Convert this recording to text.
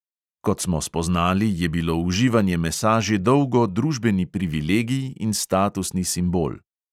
Kot smo spoznali, je bilo uživanje mesa že dolgo družbeni privilegij in statusni simbol.